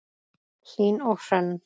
Hlín og Hrönn.